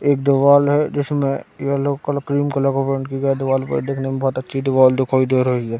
--एक दीवाल है जीसमे येलो कलर क्रीम कलर का पेंट की गई दीवाल पे ये देखने में बहोत अच्छी दीवाल दिखाई दे रही है।